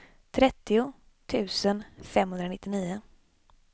trettio tusen femhundranittionio